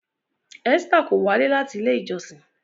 Esther kò walẹ láti ilé ìjósìn